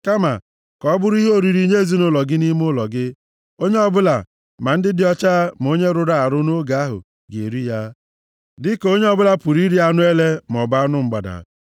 Kama, ka ọ bụrụ ihe oriri nye ezinaụlọ gị nʼime ụlọ gị. Onye ọbụla, ma ndị dị ọcha ma onye rụrụ arụ nʼoge ahụ ga-eri ya, dịka onye ọbụla pụrụ iri anụ ele maọbụ anụ mgbada.